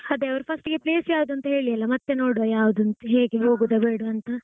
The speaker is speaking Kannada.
ಅದೇ ಅವ್ರು first ಗೆ place ಯಾವ್ದುಂತ ಹೇಳ್ಳಿ ಅಲ್ಲ ಮತ್ತೆ ನೋಡ್ವ ಯಾವ್ದುಂತ ಹೇಗೆ ಹೋಗುದ ಬೇಡ್ವಂತ.